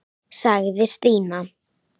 sagði Stína.